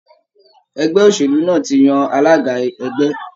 Ẹgbẹ́ òṣèlú náà tí yàn alága ẹgbẹ́.